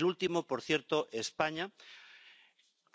El último, por cierto España,